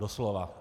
Doslova.